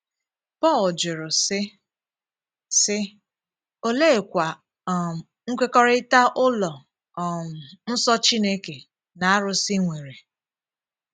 Pọl jụrụ, sị, sị: “ Òleèkwá um nkwekọrịta ụlọ um nsọ Chineke na àrụ̀sị nwerè? ”